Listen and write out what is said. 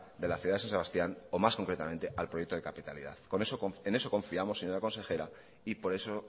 de la ciudad de san sebastián o más concretamente al proyecto de capitalidad en eso confiamos señora consejera y por eso